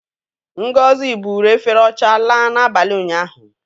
Ngozi buuru efere ọcha laa n'abalị ụnyaahụ.